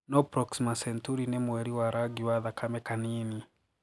No Proxima Centuari ni 'mweri wa rangi wa thakame kanini'